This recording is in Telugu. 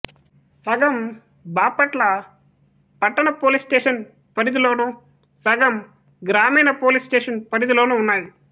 సగం బాపట్ల పట్టణ పోలీసు స్టేషను పరిధిలోనూ సగం గ్రామీణ పోలీసు స్టేషను పరిధిలోనూ ఉన్నాయి